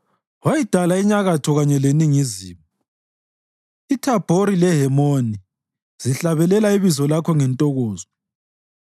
Wayidala inyakatho kanye leningizimu; iThabhori leHemoni zihlabelela ibizo lakho ngentokozo.